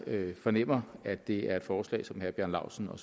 fornemmer at det er et forslag som herre bjarne laustsen og